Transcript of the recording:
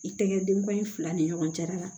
I tɛŋɛn den bɔ in fila ni ɲɔgɔn cɛla la